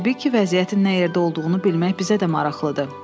Təbii ki, vəziyyətin nə yerdə olduğunu bilmək bizə də maraqlıdır.